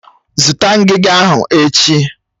Zụta ngiga ahụ echi!